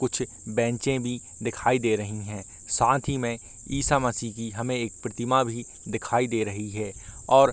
कुछ बेंचे भी दिखाई दे रही हैं साथ ही में ईसा मसीह की हमें एक प्रतिमा भी दिखाई दे रही है और --